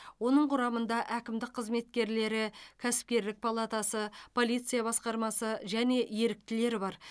оның құрамында әкімдік қызметкерлері кәсіпкерлік палатасы полиция басқармасы және еріктілер бар